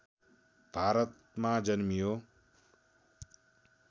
भारतमा जन्मियो